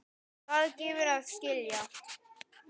Það gefur að skilja.